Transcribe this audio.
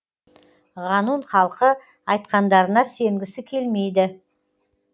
ғанун халқы айтқандарына сенгісі келмейді